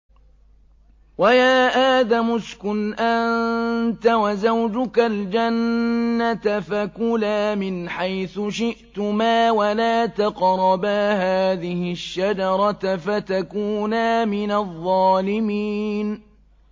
وَيَا آدَمُ اسْكُنْ أَنتَ وَزَوْجُكَ الْجَنَّةَ فَكُلَا مِنْ حَيْثُ شِئْتُمَا وَلَا تَقْرَبَا هَٰذِهِ الشَّجَرَةَ فَتَكُونَا مِنَ الظَّالِمِينَ